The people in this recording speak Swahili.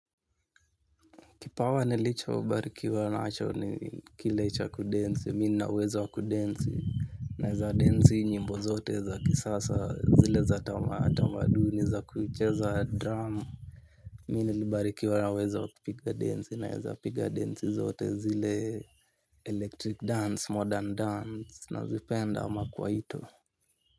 Kipawa nilichobarikiwa nacho ni kile cha kudensi, mi nina uwezo wa kudensi. Naeza densi nyimbo zote za kisasa, zile za tamaduni za kucheza drama. Mi nilibarikiwa na uwezo wa kupiga densi naeza piga densi zote zile, electric dance, modern dance, nazipenda ama kwaito.